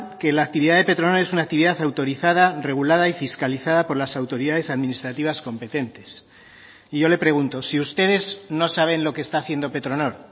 que la actividad de petronor es una actividad autorizada regulada y fiscalizada por las autoridades administrativas competentes y yo le pregunto si ustedes no saben lo que está haciendo petronor